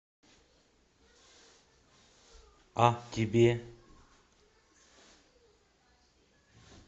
а тебе